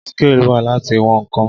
scale wà Láti wọn ǹkan.